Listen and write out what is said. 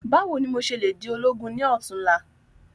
Báwo ni mo se le di ológun ni òtún la?